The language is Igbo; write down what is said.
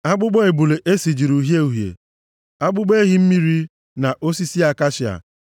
akpụkpọ ebule e sijiri uhie uhie, akpụkpọ ehi mmiri, na osisi akashia;